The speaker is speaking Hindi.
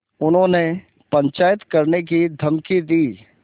उन्होंने पंचायत करने की धमकी दी